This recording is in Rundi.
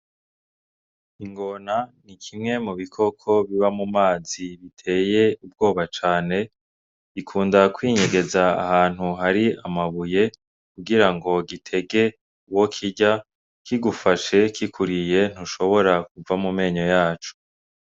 Ingona ni kimwe mu bikoko biba mu mazi biteye ubwoba cane gikunda kwinyegeza ahantu hari amabuye kugira gitege uwo kirya kigufashe kikuriye ntushobora kuva mu menyo yaco.